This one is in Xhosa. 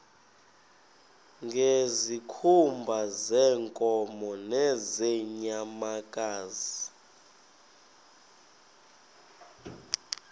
ngezikhumba zeenkomo nezeenyamakazi